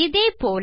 இதே போல